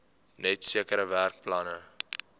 net sekere werkplekke